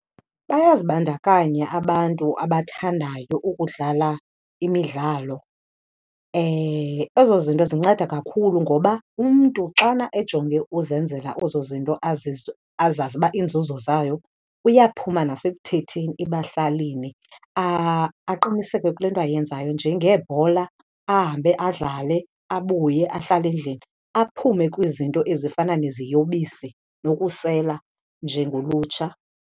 Bayazibandakanya abantu abathandayo ukudlala imidlalo. Ezo zinto zinceda kakhulu ngoba umntu xana ejonge uzenzela ezo zinto azazi uba iinzuzo zayo, uyaphuma nasekuthetheni ebahlalini, aqiniseke kule nto ayenzayo njengebhola, ahambe adlale, abuye ahlale endlini, aphume kwizinto ezifana neziyobisi nokusela njengolutsha.